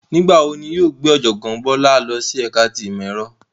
Nigbawo ni wọn yóò gbe Ojogbon Bala lọ si ẹka ti imọ-ẹrọ?